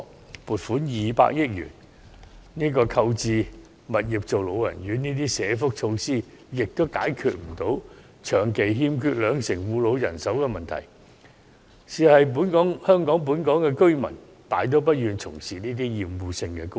政府撥款200億元購置物業作為老人院等社福措施，也解決不了長期欠缺兩成護老人手的問題，因為本港居民大多數都不願從事這些厭惡性工種。